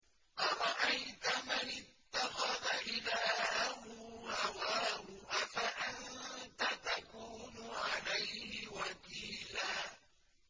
أَرَأَيْتَ مَنِ اتَّخَذَ إِلَٰهَهُ هَوَاهُ أَفَأَنتَ تَكُونُ عَلَيْهِ وَكِيلًا